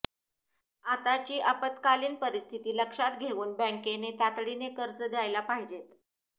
आताची आपत्कालीन परिस्थिती लक्षात घेऊन बँकेने तातडीने कर्ज द्यायला पाहिजेत